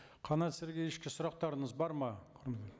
қанат сергеевичке сұрақтарыңыз бар ма